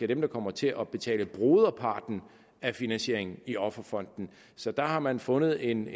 der kommer til at betale broderparten af finansieringen i offerfonden så der har man fundet en